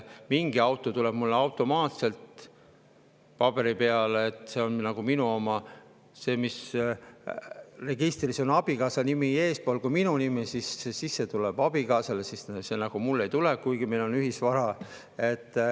Mingi auto kohta tuleb mulle automaatselt, see on minu oma, aga selle, mille puhul registris on abikaasa nimi eespool kui minu nimi, tuleb abikaasale, see mulle ei tule, kuigi see on meie ühisvara.